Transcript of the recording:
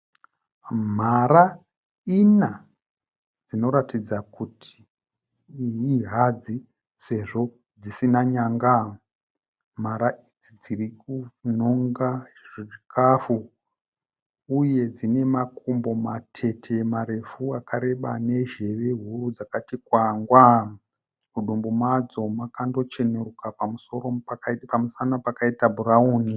Mhara ina dzinoratidza kuti ihadzi sezvo dzisina nyanga. Mhara idzi dzirikunonga zvikafu uye dzine makumbo matete marefu akareba nezveve huru dzakati kwangwa, mudumbu madzo makanocheneruka pamusana pakaita bhurauni.